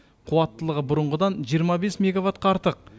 қуаттылығы бұрынғыдан жиырма бес мегаваттқа артық